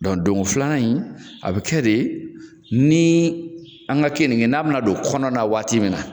Dɔnku don go filanan in a bi kɛ de ni an ka keninke n'a bi na don kɔnɔna waati min na